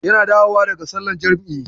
Yana dawowa daga sallar jam'i.